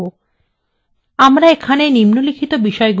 এবং এখানে নিম্নলিখিত বিষয়গুলি সম্পর্কে আলোচনা করবো :